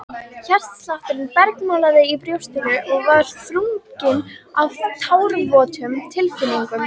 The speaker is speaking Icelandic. Hjartslátturinn bergmálaði í brjóstinu og var þrungið af tárvotum tilfinningum.